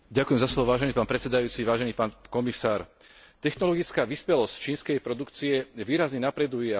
Technologická vyspelosť čínskej produkcie výrazne napreduje a v mnohých segmentoch sa už dnes vyrovná svetovej špičke.